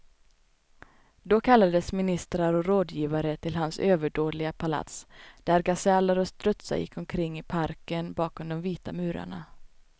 Då kallades ministrar och rådgivare till hans överdådiga palats, där gaseller och strutsar gick omkring i parken bakom de vita murarna.